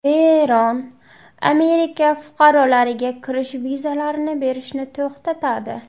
Eron Amerika fuqarolariga kirish vizalarini berishni to‘xtatadi.